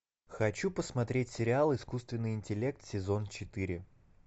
хочу посмотреть сериал искусственный интеллект сезон четыре